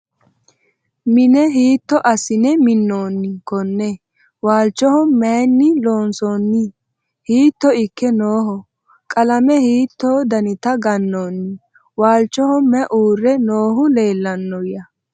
Mine hiitto asinne minoonni konne? Waalichoho mayiinni loonsoonni? Hiitto ikke nooho? Qalame hiitto dannitta ganoonni? Walichoho mayi uure noohu leellannoya?